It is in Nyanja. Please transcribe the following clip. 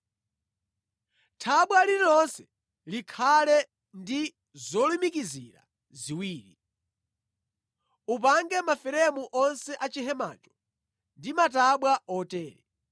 Thabwa lililonse likhale ndi zolumikizira ziwiri. Upange maferemu onse a chihemacho ndi matabwa otere.